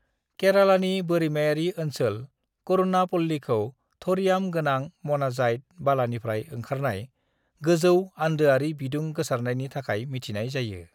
केरालानि बोरिमायारि ओनसोल करूणापल्लीखौ थ'रियाम-गोनां म'नाजाइट बालानिफ्राय ओंखारनाय गोजौ आन्दोआरि बिदुं गोसारनायनि थाखाय मिथिनाय जायो।